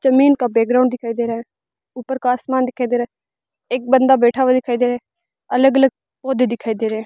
जमीन का बैकग्राउंड दिखाई दे रहा है ऊपर का आसमान दिखाई दे रहा है एक बन्दा बैठा हुआ दिखाई दे रहा है अलग अलग पौधे दिखाई दे रहे है।